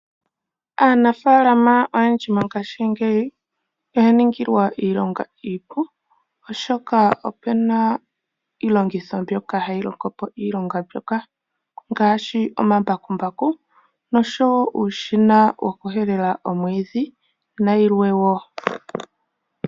Aanafalama oyendji mongshingeyi oyaningilwa iilonga iipu oshoka opuna iilongitho mbyoka hayi longo po iilonga mbyoka, ngaashi omambakumbaku nosho wo uushina wokuhelela omwidhi nayilwe wo.